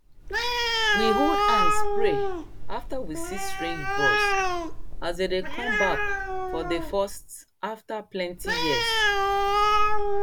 we hold hands pray after we see strange birds as dem dey come back for dey first after plenty years